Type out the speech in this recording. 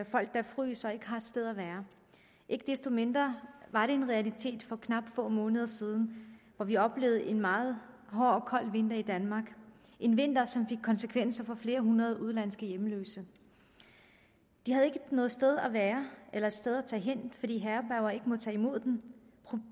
folk der fryser og ikke har et sted at være ikke desto mindre var det en realitet for blot få måneder siden for vi oplevede en meget hård og kold vinter i danmark en vinter som fik konsekvenser for flere hundrede udenlandske hjemløse de havde ikke noget sted at være eller et sted at tage hen fordi herberger ikke må tage imod dem